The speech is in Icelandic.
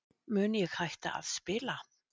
Mun ég hætta að spila?